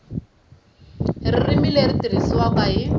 ririmi leri tirhisiwaka hi